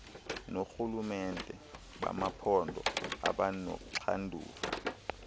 noorhulumente bamaphondo abanoxanduva